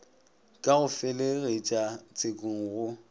ka go felegetša tshekong go